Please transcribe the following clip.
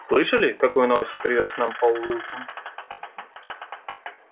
слышали какую новость привёз нам пол уилсон